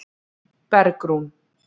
Bergrún